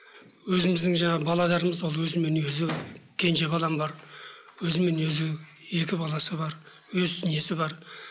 өзімізідің жаңағы балаларымыз ол өзімен өзі кенже балам бар өзімен өзі екі баласы бар өз несі бар